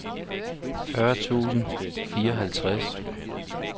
fyrre tusind og fireoghalvtreds